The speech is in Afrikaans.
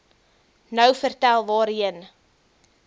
nou vertel waarheen